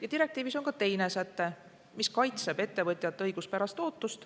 Aga direktiivis on ka teine säte, mis kaitseb ettevõtjate õiguspärast ootust.